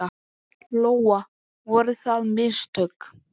Lóa: Voru það mistök?